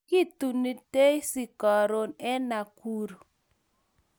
Kituni daisy karun en Nakuru